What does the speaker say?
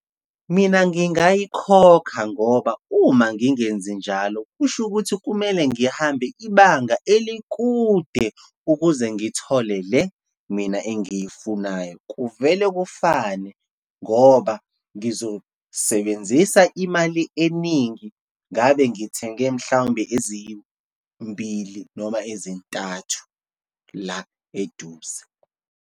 Mina, ngingayikhokha ngoba uma ngingenzi njalo, kusho ukuthi kumele ngihambe ibanga elikude, ukuze ngithole le mina engiyifunayo. Kuvele kufane, ngoba ngizosebenzisa imali eningi ngabe ngithenge, mhlawumbe ezimbili noma ezintathu la eduze.